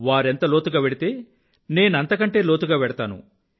వారెంత లోతుగా వెళ్తే నేనంత కంటే లోతుగా వెళ్తాను